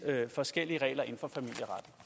forskellige regler inden